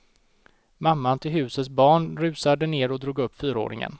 Mamman till husets barn rusade ned och drog upp fyraåringen.